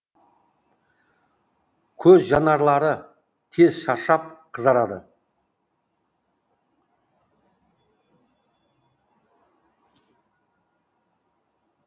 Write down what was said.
көз жанарлары тез шаршап қызарады